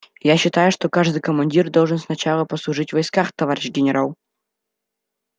я считаю что каждый командир должен сначала послужить в войсках товарищ генерал